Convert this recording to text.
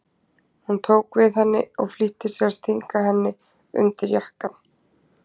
Hún tók við henni og flýtti sér að stinga henni undir jakkann.